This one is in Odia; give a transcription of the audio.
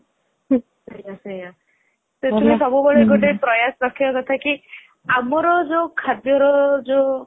ସେଇଆ ସେଇଆ ସେଥିପାଇଁ ସବୁ ବେଳେ ଗୋଟେ ପ୍ରୟାସ ରାଖିବା କଥା କି ଆମର ଯୋଉ ଖାଦ୍ୟର ଯୋଉ